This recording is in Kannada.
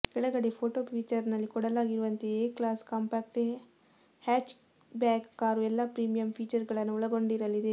ಕೆಳಗಡೆ ಫೋಟೊ ಫೀಚರ್ನಲ್ಲಿ ಕೊಡಲಾಗಿರುವಂತೆಯೇ A class compact hatchback car ಎಲ್ಲ ಪ್ರೀಮಿಯಂ ಫೀಚರ್ಗಳನ್ನು ಒಳಗೊಂಡಿರಲಿದೆ